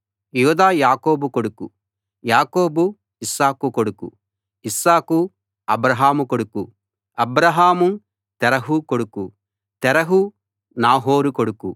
యూదా యాకోబు కొడుకు యాకోబు ఇస్సాకు కొడుకు ఇస్సాకు అబ్రాహాము కొడుకు అబ్రాహాము తెరహు కొడుకు తెరహు నాహోరు కొడుకు